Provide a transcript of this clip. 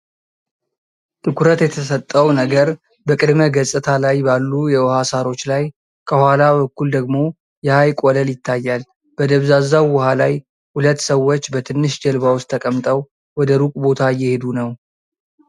ትኩረት የተሰጠው ነገር በቅድመ-ገጽታ ላይ ባሉ የውሃ ሣሮች ላይ ፣ ከኋላ በኩል ደግሞ የሐይቅ ወለል ይታያል። በደብዛዛው ውሃ ላይ ሁለት ሰዎች በትንሽ ጀልባ ውስጥ ተቀምጠው ወደ ሩቅ ቦታ እየሄዱ ነው።